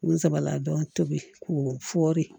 N sabala dɔrɔn tobi ko fɔri